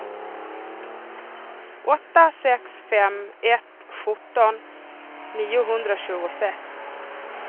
åtta sex fem ett sjutton niohundratjugosex